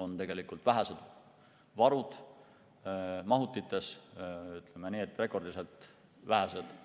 on vähesed varud mahutites, ütleme nii, et rekordiliselt vähesed.